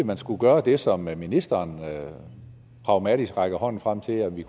man skulle gøre det som ministeren pragmatisk rækker hånden frem til nemlig